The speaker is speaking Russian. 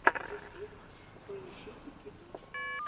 ютюб поищи кикиду